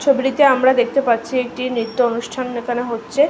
ছবিটিতে আমরা দেখতে পাচ্ছি একটি নৃত্য অনুষ্ঠান দেখানো হচ্ছে।